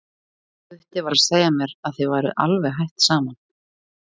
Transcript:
Gutti var að segja mér að þið væruð alveg hætt saman.